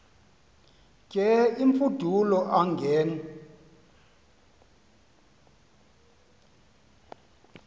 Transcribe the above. ke imfudulo angen